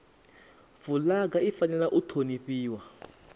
fulaga i fanela u honifhiwa